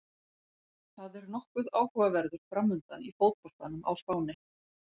Það er nokkuð áhugaverður framundan í fótboltanum á Spáni.